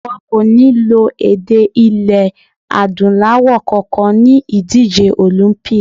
Wọn kò ní lo èdè ilẹ̀ Adúláwọ̀ kankan ni ìdíje Olympic.